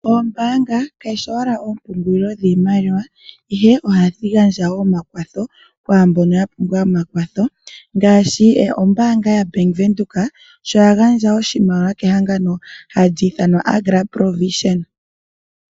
Oombaanga kadhi shi owala oompungulilo dhiimaliwa ihe ohadhi gandja woo omakwatho kwaambono ya pumbwa omakwatho. Ngaashi ombaanga yaBank Windhoek sho ya gandja oshimaliwa kehangano hali ithanwa Agra Pro Vision.